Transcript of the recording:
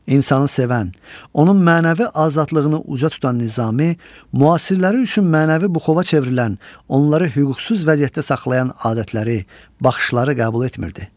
İnsanı sevən, onun mənəvi azadlığını uca tutan Nizami müasirləri üçün mənəvi buxova çevrilən, onları hüquqsuz vəziyyətdə saxlayan adətləri, baxışları qəbul etmirdi.